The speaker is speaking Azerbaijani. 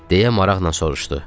deyə maraqla soruşdu.